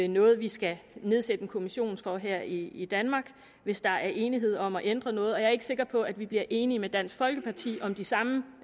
noget vi skal nedsætte en kommission for her i danmark hvis der er enighed om at ændre noget jeg er ikke sikker på at vi bliver enige med dansk folkeparti om de samme